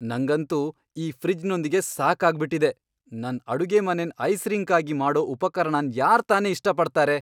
ನಂಗಂತೂ ಈ ಫ್ರಿಜ್ನೊಂದಿಗೆ ಸಾಕಾಗ್ ಬಿಟ್ಟಿದೆ. ನನ್ ಅಡುಗೆಮನೆನ್ ಐಸ್ ರಿಂಕ್ ಆಗಿ ಮಾಡೋ ಉಪಕರಣನ್ ಯಾರ್ ತಾನೇ ಇಷ್ಟ್ ಪಡ್ತಾರೆ?